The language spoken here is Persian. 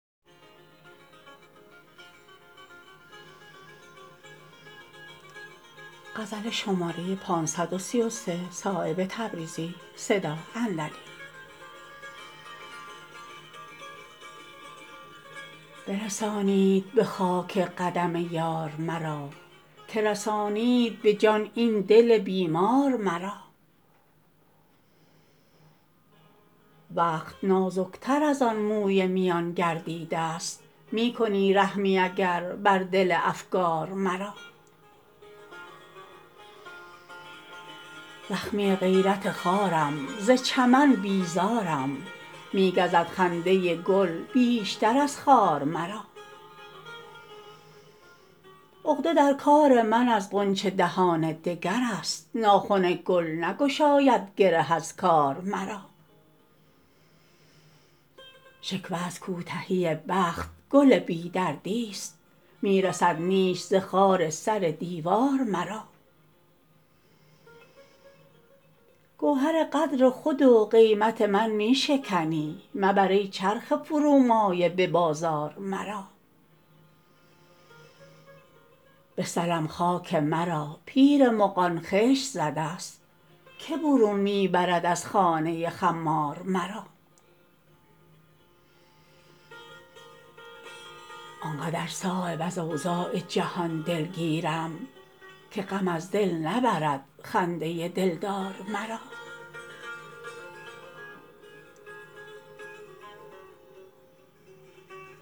برسانید به خاک قدم یار مرا که رسانید به جان این دل بیمار مرا وقت نازک تر ازان موی میان گردیده است می کنی رحمی اگر بر دل افگار مرا زخمی غیرت خارم ز چمن بیزارم می گزد خنده گل بیشتر از خارمرا عقده در کار من از غنچه دهان دگرست ناخن گل نگشاید گره از کار مرا شکوه از کوتهی بخت گل بی دردی است می رسد نیش ز خار سر دیوار مرا گوهر قدر خود و قیمت من می شکنی مبر ای چرخ فرومایه به بازار مرا به سلم خاک مرا پیر مغان خشت زده است که برون می برد از خانه خمار مرا آنقدر صایب از اوضاع جهان دلگیرم که غم از دل نبرد خنده دلدار مرا